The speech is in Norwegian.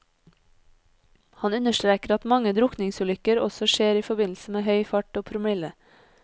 Han understreker at mange drukningsulykker også skjer i forbindelse med høy fart og promille.